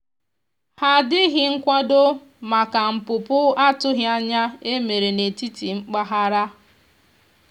iwu nkwusi orụ mgberede nkwusi orụ mgberede kwụsìrì ọmụmụ n'ihi esemeokwụ enwere maka imeghari nkwekọrịta ọmụmụ